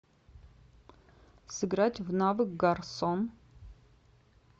сыграть в навык гарсон